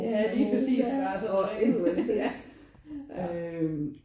Ja lige præcis der er så mange ja